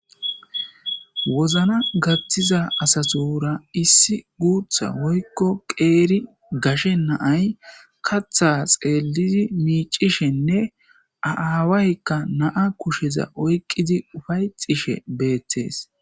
Wozna gattiza asatura issi guutha woykko qeeri gashe naay katha xeellidi miicishenne aaawaykka naa kusheza oyqidi ufayxishe beettees.